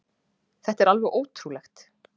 Þetta er alveg ótrúlegt